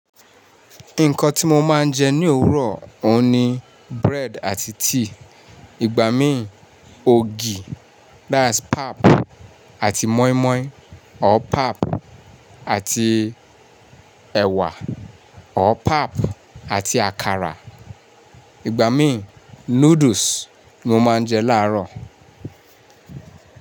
Nǹkan tí mo máa ń jẹ ní òwúrọ̀, òun ni bread àti tea, ìgbà mí ògì, àti moimoi, tabi ogi àti ẹ̀wà, tabi ogi àti àkàrà, ìgbà mí noodles mo máa ń jẹ láàárọ̀.